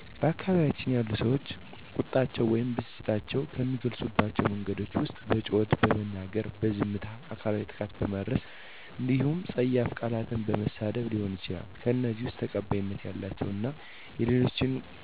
በአካባቢያችን ያሉ ሰዎች ቁጣቸውን ወይም ብስጭታቸውን ከሚገልፁባቸው መንገዶች ዉስጥ በጩኸት በመናገር፣ በዝምታ፣ አካላዊ ጥቃት በማድረስ እንዲሁም ፀያፍ ቃላትን በመሳደብ ሊሆን ይችላል። ከእነዚህም ውስጥ ተቀባይነት ያላቸው እና የሌላቸው ቁጣን መግለጫ መንገዶች አሉ፤ ዝምታ እና በጩኸት መናገር ተቀባይት ሊኖራቸው የሚችሉ ሲሆኑ ፀያፍ ቃላትን መናገር እና አካላዊ ጥቃት ማድረስ ግን በፍፁም ተቀባይነት የሌላቸው ቁጣን የመግለጫ መንገዶች ናቸው።